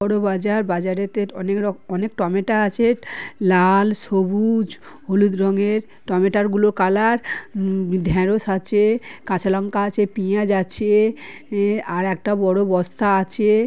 বড় বাজার বাজারেতে অনেক রক অনেক টমেটা আছে লাল সবুজ হলুদ রঙের টমেটা গুলার কালার উঃ ঢেঁড়স আছে কাঁচা লঙ্কা আছে পেঁয়াজ আছে অ্যা আর একটা বড় বস্তা আছে--